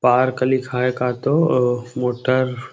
park लिखाये हे का तो मोटर